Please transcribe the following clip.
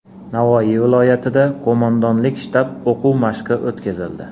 Navoiy viloyatida qo‘mondonlik shtab o‘quv mashqi o‘tkazildi.